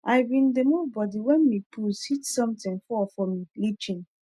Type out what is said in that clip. i bin d move body wen mi puss hit sontin fall for mi litchen